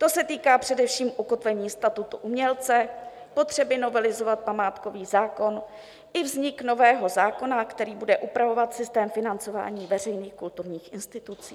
To se týká především ukotvení statusu umělce, potřeby novelizovat památkový zákon i vzniku nového zákona, který bude upravovat systém financování veřejných kulturních institucí.